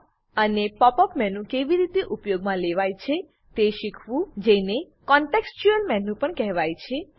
અને pop up menu કેવી રીતે ઉપયોગમાં લેવાય છે તે શીખવું જેને કોનટેક્ષચ્યુંઅલ મેનુ પણ કહેવાય છે